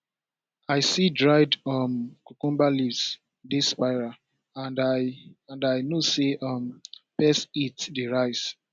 i see dried um cucumber leaves dey spiral and i and i know say um pest heat dey rise